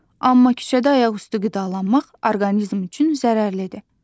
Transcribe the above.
Amma küçədə ayaqüstü qidalanmaq orqanizm üçün zərərlidir.